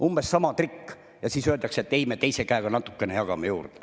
Umbes sama trikk ja siis öeldakse, et ei, me teise käega natukene jagame juurde.